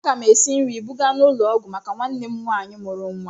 Aga m esi nri buga n'ụlọ ọgwụ maka nwanne m nwaanyị mụrụ nwa.